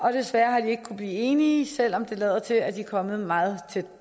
har desværre ikke kunnet blive enige selv om det lader til at de er kommet meget tæt